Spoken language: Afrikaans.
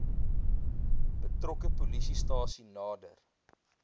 betrokke polisiestasie nader